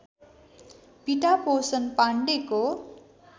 पिता पोषण पाण्डेको